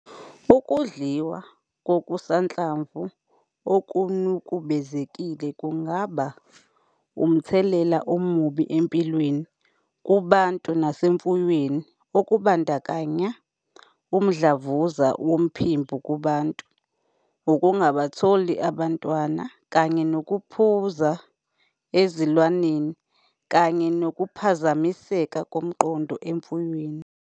Ukudliwa kokusanhlamvu okunukubezekile kungaba nomthelela omubi empilweni kubantu nasemfuyweni okubandakanya umdlavuza womphimbo kubantu, ukungabatholi abantwana kanye nokuphunza ezilwaneni, kanye nokuphazamiseka komqondo emfuyweni.